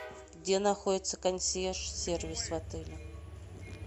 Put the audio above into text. где находится консьерж сервис в отеле